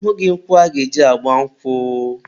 ahụghị nkwụ aga-eji gba nkwụ.